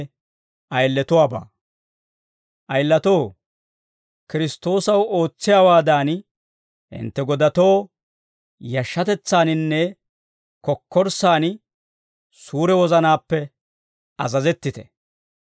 Ayilatoo, Kiristtoosaw ootsiyaawaadan, hintte godatoo yashshatetsaaninne kokkorssaan suure wozanaappe azazettite.